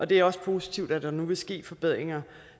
det er også positivt at der nu vil ske forbedringer